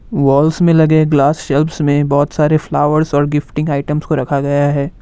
Walls में लगे glass shelves में बहुत सारे फ्लावर्स और गिफ्टिंग आइटम्स को रखा गया है।